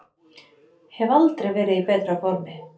Hef aldrei verið í betra formi